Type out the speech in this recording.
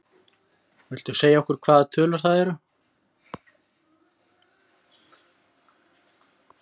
Jón: Viltu segja okkur hvaða tölur það eru?